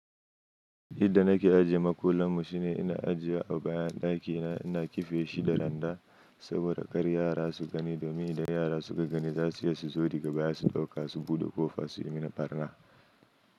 Yadda nake ajiye makullan mu shine ina ajiye a bayan ɗakina, ina kife shi da landa saboda kar yara su gani. Domin da yara suka gani za su iya su zo daga baya su ɗauka su buɗe ko fa su yi mini barna.